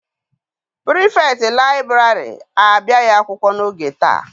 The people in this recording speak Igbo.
Pirifetktị liburary abịaghị akwụkwọ n'oge taa.